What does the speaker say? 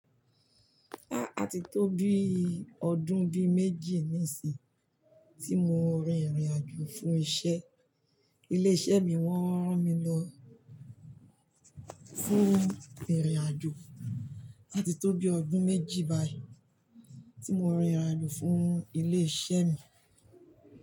A tí tó bí ọdún bí méjì nísìnyí tí mo rin ìrìn-àjò fún iṣẹ́. Ilé-iṣẹ́ mi wọn rán mi lọ fún ìrìn-àjò áti tó bí ọdún méjì báyìí tí mo rin ìrìn-àjò fún ilé-iṣẹ́ mi.